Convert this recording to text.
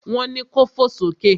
Wọn ni ko fò sókè!